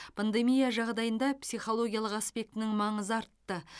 пандемия жағдайында психологиялық аспектінің маңызы артты